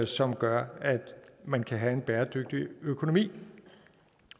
som gør at man kan have en bæredygtig økonomi